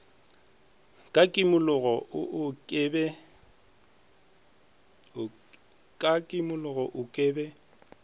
ka kimologo oo ke be